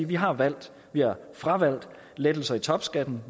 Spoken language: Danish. vi har valgt vi har fravalgt lettelser i topskatten